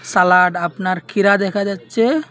Salad আপনার কিরা দেখা যাচ্ছে।